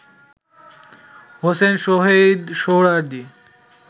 Hossain Shaheed Suhrawardy